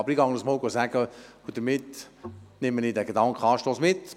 Aber ich werde es den Leuten sagen, und damit nehme ich diesen Gedankenanstoss mit.